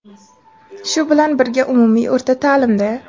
Shu bilan birga umumiy o‘rta taʼlimda:.